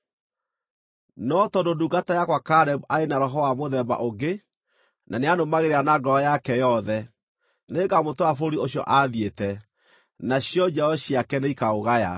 No tondũ ndungata yakwa Kalebu arĩ na roho wa mũthemba ũngĩ na nĩanũmagĩrĩra na ngoro yake yothe, nĩngamũtwara bũrũri ũcio aathiĩte, nacio njiaro ciake nĩikaũgaya.